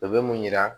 O bɛ mun yira